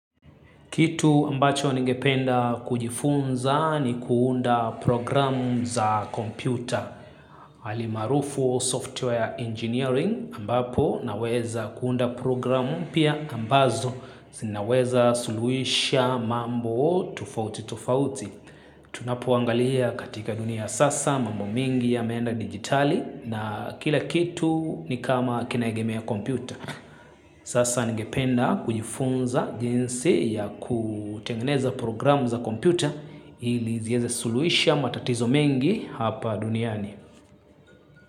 Kitu ambacho nigependa kujifunza ni kuunda programu za kompyuta. Hali maarufu au software engineering ambapo naweza kuunda programu pia ambazo. Zinaweza suluhisha mambo tofauti tofauti. Tunapoangalia katika dunia ya sasa mambo mingi yameenda digitali na kila kitu ni kama kinaegemea kompyuta. Sasa ningependa kujifunza jinsi ya kutengeneza programu za kompyuta ili ziweze suluhisha matatizo mengi hapa duniani.